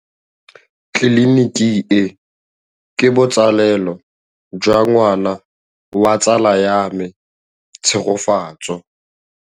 Tleliniki e, ke botsalêlô jwa ngwana wa tsala ya me Tshegofatso.